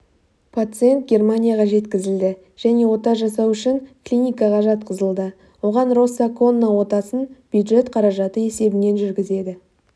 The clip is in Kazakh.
пациент германияға жеткізілді және ота жасау үшін клиникаға жатқызылды оған росса-конна отасын бюджет қаражаты есебінен жүргізеді